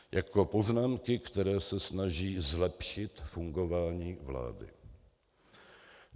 Jako poznámky, které se snaží zlepšit fungování vlády.